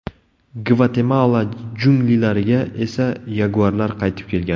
Gvatemala junglilariga esa yaguarlar qaytib kelgan .